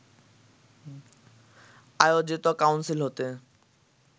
আয়োজিত কাউন্সিল হতে